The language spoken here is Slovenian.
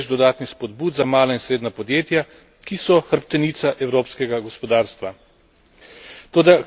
Poleg tega smo uvedli več dodatnih spodbud za mala in srednja podjetja, ki so hrbtenica evropskega gospodarstva.